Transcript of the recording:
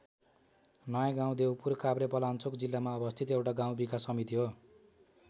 नयाँ गाउँ देउपुर काभ्रेपलाञ्चोक जिल्लामा अवस्थित एउटा गाउँ विकास समिति हो।